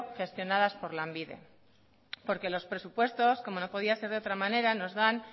gestionadas por lanbide porque los presupuestos como no podía ser de otra manera nos dan